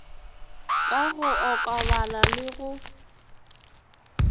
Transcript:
ka go okobala le go